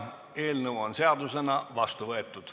Eelnõu on seadusena vastu võetud.